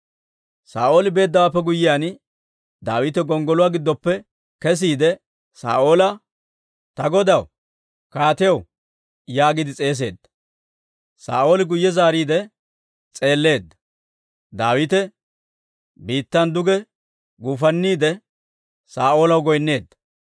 Saa'ooli beeddawaappe guyyiyaan, Daawite gonggoluwaa giddoppe kesiide, Saa'oola, «Ta godaw, kaatiyaw!» yaagiide s'eeseedda; Saa'ooli guyye zaariidde s'eelleedda; Daawite biittan duge guufanniide, Saa'oolaw goyneedda.